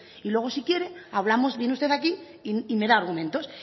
y luego si quiere viene usted aquí y me da argumentos